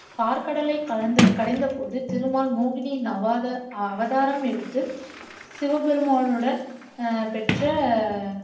பாற்கடலை கடைந் கடைந்த போது திருமால் மோகினியின் அவாத ஆஹ் அவதாரம் எடுத்து சிவபெருமானுடன் ஆஹ் பெற்ற